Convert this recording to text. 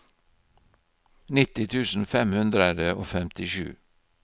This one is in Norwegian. nitti tusen fem hundre og femtisju